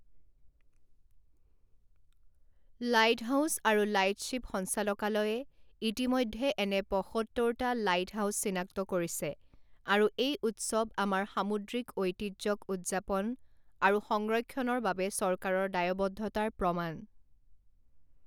Lighthouse আৰু lightship সঞ্চালকালয়ে ইতিমধ্যে এনে পঁসত্তৰটা লাইটহাউছ চিনাক্ত কৰিছে আৰু এই উৎসৱ আমাৰ সামুদ্ৰিক ঐতিহ্যক উদযাপন আৰু সংৰক্ষণৰ বাবে চৰকাৰৰ দায়বদ্ধতাৰ প্ৰমাণ।